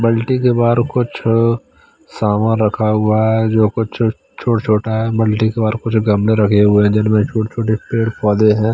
बाल्टी के बाहर कुछ सामान रखा हुआ है जो कुछ छोटा छोटा है बाल्टी के बाहर कुछ गमले रखें हुए हैं जिनमें छोटे छोटे पेड़ पौधे हैं।